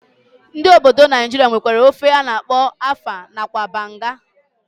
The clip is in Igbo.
Ndi obodo Naijiria nwere ofe ana akpo afang nakwa banga.